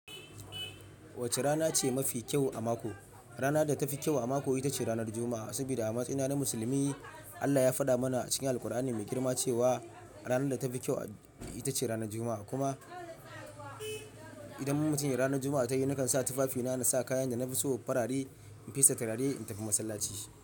Wacce rana ce mafi kyau a mako? Rana da tafi kyau a mako, ita ce ranar Juma'a. Saboda a matsayina na musulmi, Allah ya faɗa mana a cikin Alqur'ani Mai Girma cewa ranar da tafi kyau ita ce ranar Juma'a. Kuma idan mun wuce ranar Juma'a ta yi, nakan sa tufafina na sa kayan da na fi so farare, in fesa turare, in tafi masallaci.